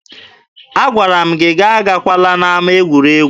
Agwara m gị agakwala n'ama egwuregwu!